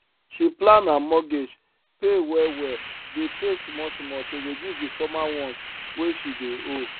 she plan her mortgage pay well well dey pay small small to reduce the former ones wey she dey owe